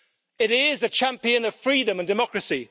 It is a champion of freedom and democracy.